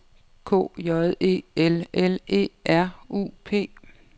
K J E L L E R U P